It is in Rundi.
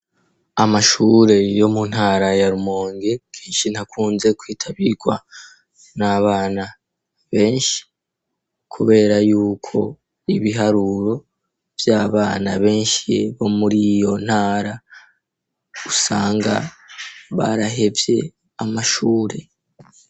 amashure yo mu ntara yarumonge kenshi ntakunze kwitabirwa n'abana benshi kubera y'uko ibiharuro vy'abana benshi bo muriiyo ntara usanga barahevye amashure